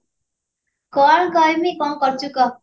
କଣ କହିବି କଣ କରୁଛୁ କହ